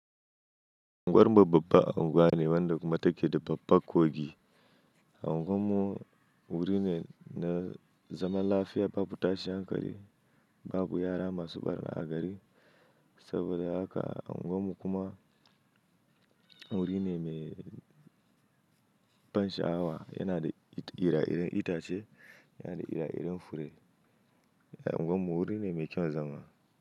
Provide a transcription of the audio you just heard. Anguwar mu babbar unguwa ne wadda kuma take da babba kogi. Unguwan mu wuri ne na zaman lafiya babu tashin hankali, babu yara masu ɓarna a gari. Saboda haka unguwar mu kuma wuri ne mai ban sha'awa, yana da ire-iren itace, yana da ire-iren fure. Unguwar mu wuri ne mai kyaun zama.